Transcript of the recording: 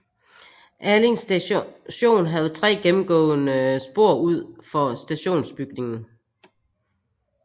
Allinge Station havde 3 gennemgående spor ud for stationsbygningen